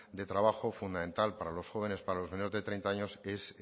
de trabajo fundamental para los jóvenes para los menores de treinta años es